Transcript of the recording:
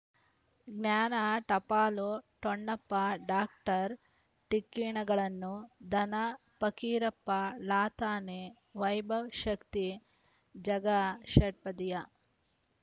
ಜ್ಞಾನ ಟಪಾಲು ಠೊಣಪ್ಪ ಡಾಕ್ಟರ್ ಢಿಕ್ಕಿ ಣಗಳನು ಧನ ಪಕೀರಪ್ಪ ಲಾತಾನೆ ವೈಭವ್ ಶಕ್ತಿ ಝಗಾ ಷಟ್ಪದಿಯ